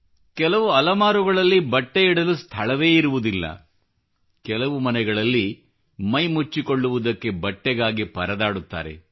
ಕೆಲವು ಅಲಮಾರುಗಳಲ್ಲಿ ಬಟ್ಟೆ ಇಡಲು ಸ್ಥಳವೇ ಇರುವುದಿಲ್ಲ ಕೆಲವು ಮನೆಗಳಲ್ಲಿ ಮೈ ಮುಚ್ಚಿಕೊಳ್ಳುವುದಕ್ಕೆ ಬಟ್ಟೆಗಾಗಿ ಪರದಾಡುತ್ತಾರೆ